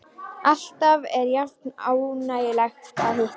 Alltaf er jafn ánægjulegt að hitta þig.